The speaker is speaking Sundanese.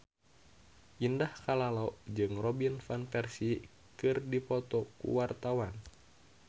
Indah Kalalo jeung Robin Van Persie keur dipoto ku wartawan